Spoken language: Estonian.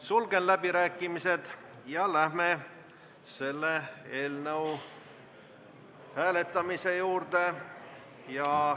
Sulgen läbirääkimised ja läheme selle eelnõu hääletamise juurde.